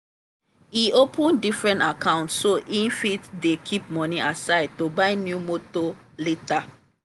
e open diferent account so e fit dey keep money aside to buy new motor later.